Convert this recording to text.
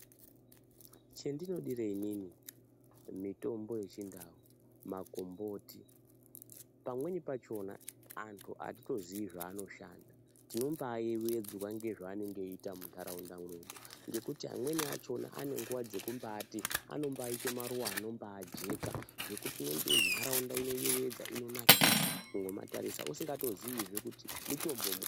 Chendinodire inini mitombo yechindau, makomboti, pamweni pachona antu atitoziyi zvaanoshanda, tinombayevedzwa ngezvaanenge eyiita mundaraunda mwedu, ngekuti amweni achona ane nguwa dzenombayite maruwa anombayijeka, zvokuti ndaraunda inoyewedza, inonakidza kungomatarisa usingatoziyizve kutiutombo.